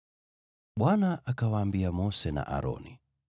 Bwana akawaambia Mose na Aroni,